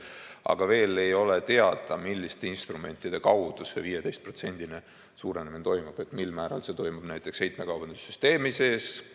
Aga veel ei ole teada, milliste instrumentide kaudu see 15%-line suurenemine toimub, mil määral see toimub näiteks heitmekaubanduse süsteemi sees.